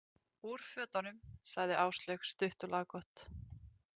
Úr fötunum, sagði Áslaug stutt og laggott.